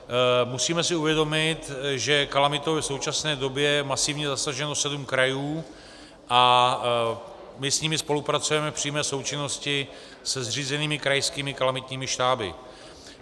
Musíme si uvědomit, že kalamitou je v současné době masivně zasaženo sedm krajů a my s nimi spolupracujeme v přímé součinnosti se zřízenými krajskými kalamitními štáby.